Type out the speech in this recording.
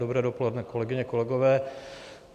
Dobré dopoledne, kolegyně, kolegové.